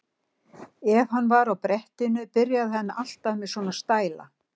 Ef hann var á brettinu byrjaði hann alltaf með svona stæla.